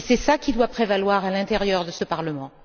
C'est cela qui doit prévaloir à l'intérieur de ce Parlement.